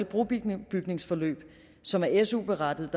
brobygningsforløb som er su berettigede